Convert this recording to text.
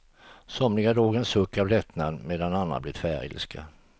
Somliga drog en suck av lättnad, medan andra blev tvärilska.